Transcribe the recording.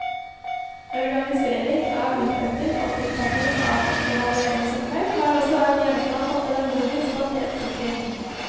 Organsiering av uttestingen og tilpasning av evalueringsopplegg har også vært gjenstand for pedagogisk kvalitetssikring.